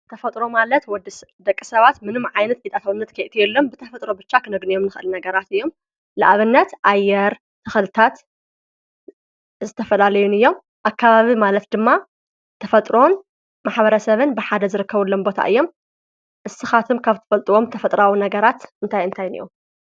ተፈጥሮ ማለት ወዲ ደቂ ሰባት ምንም ዓይነት ኢጣትውነት ከእት የሎም ብተፈጥሮ ብሻ ኽነግንዮም ንኽል ነገራት እዮም ለኣብነት ኣየር ተኸልታት ዘተፈላለዩን እዮም ኣካባቢ ማለት ድማ ተፈጥሮን ማኅበረ ሰብን ብሓደ ዘረከቡሎምቦታ እዮም ንስኻትም ካብ ትፈልጥዎም ተፈጥራዊ ነገራት እንታይ እንታይንዮም።